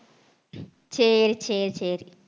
சரி சரி சரி